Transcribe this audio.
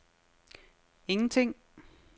ingenting